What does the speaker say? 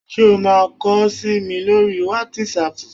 Ṣé o máa kọ sí mi lórí wátísapù?